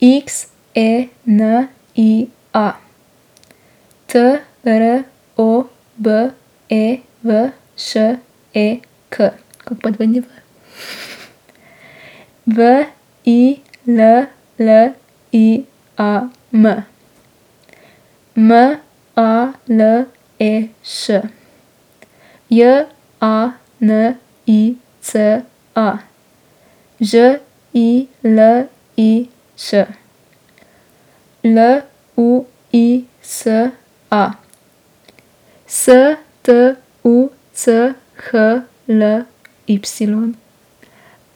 X E N I A, T R O B E V Š E K; kako pa dvojni V V I L L I A M, M A L E Š; J A N I C A, Ž I L I Ć; L U I S A, S T U C H L Y;